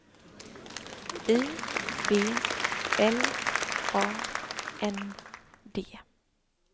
I B L A N D